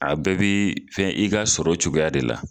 A bɛɛ bɛ fɛn i ka sɔrɔ cogoya de la.